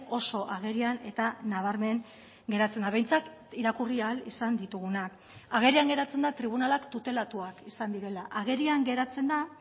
oso agerian eta nabarmen geratzen da behintzat irakurri ahal izan ditugunak agerian geratzen da tribunalak tutelatuak izan direla agerian geratzen da